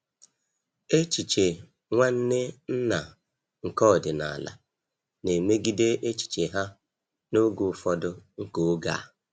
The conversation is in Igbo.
Echiche Nwanne nna nke ọdịnala na-emegide echiche ha n'oge ufọdu nke oge a.